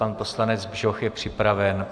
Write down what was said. Pan poslanec Bžoch je připraven.